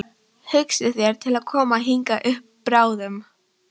Hugsið þér til að koma hingað upp bráðum?